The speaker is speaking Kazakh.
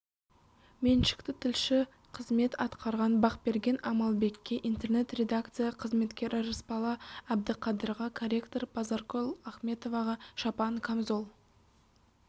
меншікті тілші қызмет атқарған бақберген амалбекке интернет-редакция қызметкері рысбала бдіқадырға корректор базаркүл ахметоваға шапан камзол